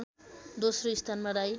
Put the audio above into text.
दोस्रो स्थानमा राई